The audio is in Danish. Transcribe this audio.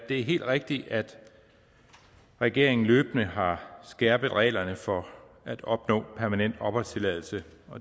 det er helt rigtigt at regeringen løbende har skærpet reglerne for at opnå permanent opholdstilladelse